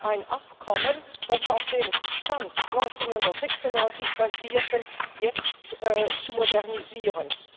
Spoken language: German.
ein Abkommen, das auf dem Stand 1996 basierte, jetzt zu modernisieren.